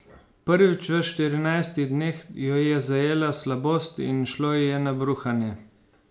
Prvič v štirinajstih dneh jo je zajela slabost in šlo ji je na bruhanje.